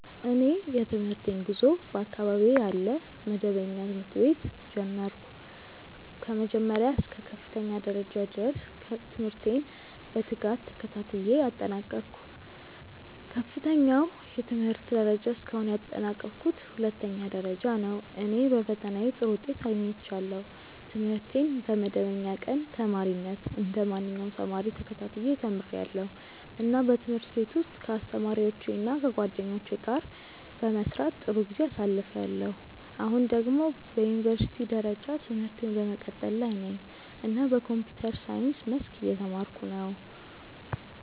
እኔ የትምህርቴን ጉዞ በአካባቢዬ ያለ መደበኛ ትምህርት ቤት ጀመርሁ። ከመጀመሪያ እስከ ከፍተኛ ደረጃ ድረስ ትምህርቴን በትጋት ተከታትዬ አጠናቀቅሁ። ከፍተኛው የትምህርት ደረጃ እስካሁን ያጠናቀቅሁት ሁለተኛ ደረጃ ነው፣ እና በፈተናዬ ጥሩ ውጤት አግኝቻለሁ። ትምህርቴን በመደበኛ ቀን ተማሪነት እንደ ማንኛውም ተማሪ ተከታትዬ ተምርያለሁ፣ እና በትምህርት ቤት ውስጥ ከአስተማሪዎቼ እና ከጓደኞቼ ጋር በመስራት ጥሩ ጊዜ አሳልፍያለሁ። አሁን ደግሞ በዩኒቨርሲቲ ደረጃ ትምህርቴን በመቀጠል ላይ ነኝ እና በኮምፒውተር ሳይንስ መስክ እየተማርኩ ነው።